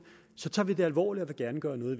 så tager vi det alvorligt og vil gerne gøre noget